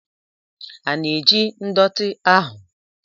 A na-eji ndọtị ahụ?